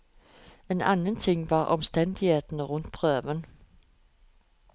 En annen ting var omstendighetene rundt prøven.